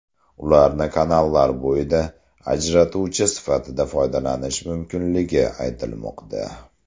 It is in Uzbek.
Ularni kanallar bo‘yida ajratuvchi sifatida foydalanish mumkinligi aytilmoqda.